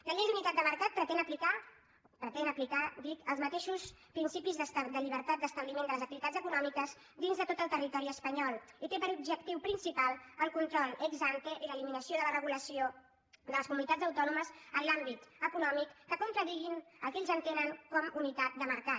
la llei d’unitat de mercat pretén aplicar pretén aplicar dic els mateixos principis de llibertat d’establiment de les activitats econòmiques dins de tot el territori espanyol i té per objectiu principal el control ex ante i l’eliminació de la regulació de les comunitats autònomes en l’àmbit econòmic que contradigui el que ells entenen com unitat de mercat